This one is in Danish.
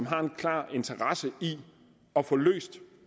har en klar interesse i at få løst